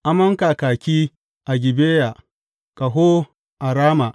Amon kakaki a Gibeya, ƙaho a Rama.